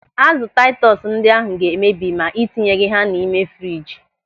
Azụ taitus ndị ahụ ga emebi ma ị tinyeghị ha n'ime friji.